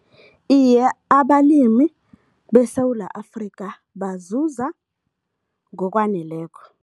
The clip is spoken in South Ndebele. Iye, abalimi beSewula Afrika bazuza ngokwaneleko.